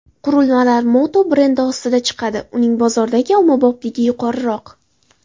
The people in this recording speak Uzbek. Qurilmalar Moto brendi ostida chiqadi uning bozordagi ommabopligi yuqoriroq.